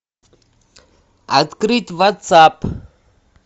открыть ватсап